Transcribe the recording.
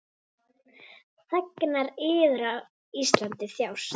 Þegnar yðar á Íslandi þjást.